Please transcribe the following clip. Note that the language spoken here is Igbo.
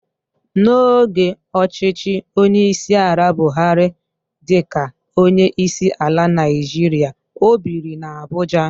N'oge ọchịchị onyeisiala Buhari dịka onyeisiala Naịjirịa, o biri n'Abuja.